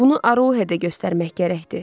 Bunu Aroxeyə də göstərmək gərəkdir.